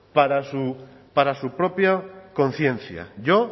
para su propia conciencia yo